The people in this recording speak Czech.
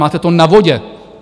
Máte to na vodě!